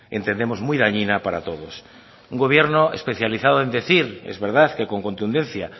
entendemos muy dañina para todos un gobierno especializado en decir es verdad que con contundencia